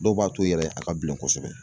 Dɔw b'a toyi yɛrɛ a ka bilen kosɛbɛ.